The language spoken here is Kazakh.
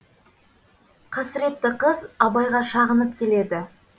қасіретті қыз абайға шағынып келеді